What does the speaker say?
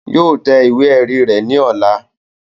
Yóò tẹ ìwé ẹ̀rí rẹ̀ ní ọ̀la